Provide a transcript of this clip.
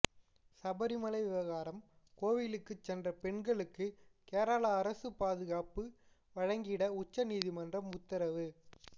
சபரிமலை விவகாரம் கோவிலுக்கு சென்ற பெண்களுக்கு கேரள அரசு பாதுகாப்பு வழங்கிட உச்ச நீதிமன்றம் உத்தரவு